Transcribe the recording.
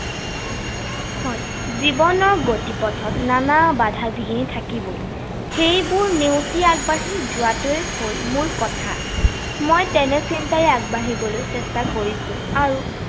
হয়, জীৱনৰ গতিপথত নানা বাধা বিঘিনী থাকিবই। সেইবোৰ নেওচি আগবাঢ়ি যোৱাটোৱেই হল মূল কথা। মই তেনে চিন্তাৰে আগবাঢ়িবলৈ চেষ্টা কৰিছো আৰু